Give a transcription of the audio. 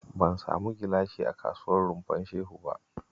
Ban samu gilashi a kasuwar Rumfar Shehu ba